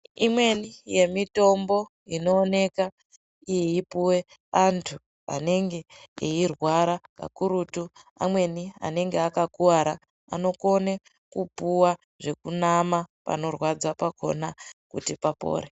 Imweni yemitombo inooneka iipuwe antu anenge eirwara kakurutu amweni anenge akakuwara anokone kupuwa zvekunama panorwadza pakona kuti papore.